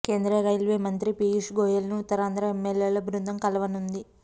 కేంద్ర రైల్వే మంత్రి పీయూష్ గోయల్ ను ఉత్తరాంధ్ర ఎమ్మెల్యేల బృందం కలవనుంది